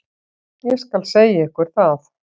Ég skal segja ykkur það.